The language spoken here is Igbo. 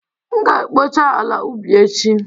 M ga-ekpocha ala ubi echi